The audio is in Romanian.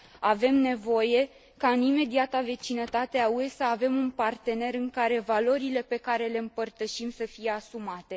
Avem nevoie ca în imediata vecinătate a UE să avem un partener în care valorile pe care le împărtășim să fie asumate.